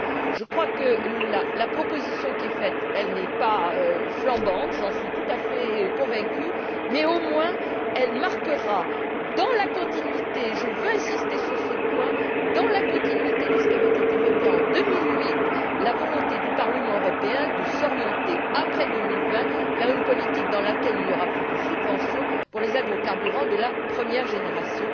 Je crois que la proposition qui est faite n'est pas flamboyante j'en suis tout à fait convaincue mais, au moins, elle marquera dans la continuité je veux insister sur ce point ce qui avait été voté en 2008 la volonté du Parlement européen de s'orienter, après 2020, vers une politique dans laquelle il n'y aura plus de subventions pour les agrocarburants de la première génération.